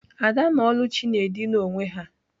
Ada na Oluchi na-edina onwe ha.